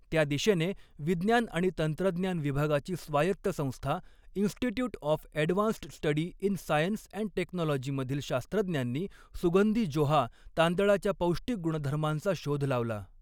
त्या दिशेने, विज्ञान आणि तंत्रज्ञान विभागाची स्वायत्त संस्था institute of advanced study in science and technology मधील शास्त्रज्ञांनी सुगंधी जोहा तांदळाच्या पौष्टिक गुणधर्मांचा शोध लावला.